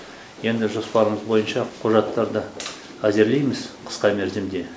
енді жоспарымыз бойынша құжаттарды әзірлейміз қысқа мерзімде